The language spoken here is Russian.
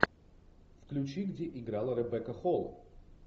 включи где играла ребекка холл